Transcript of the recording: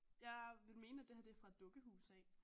Jeg vil mene at det her det er fra et dukkehus af